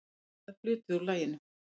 Spilaður hluti úr laginu.